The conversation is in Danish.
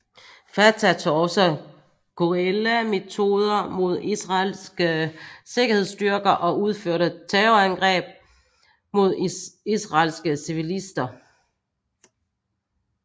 Fatah tog også guerillametoder mod israelske sikkerhedsstyrker og udførte terrorangreb mod israelske civilister